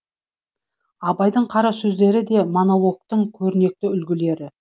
абайдың қара сөздері де монологтың көрнекті үлгілері